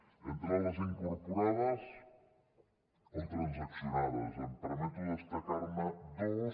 entres les incorporades o transaccionades em permeto destacar ne dues